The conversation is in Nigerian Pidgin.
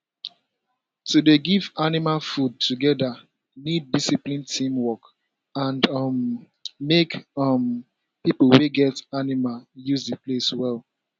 to dey give animal food together need discipline teamwork and um make um people wey get animal use the place well